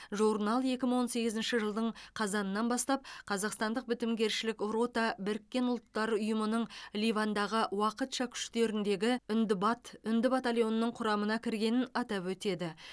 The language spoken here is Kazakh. журнал екі мың он сегізінші жылдың қазанынан бастап қазақстандық бітімгершілік рота біріккен ұлттар ұйымының ливандағы уақытша күштеріндегі үндбат үнді батальонының құрамына кіргенін атап өтеді